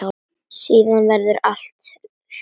Síðan verður allt hljótt.